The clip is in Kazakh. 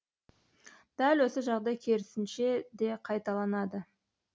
дәл осы жағдай керісінше де қайталанады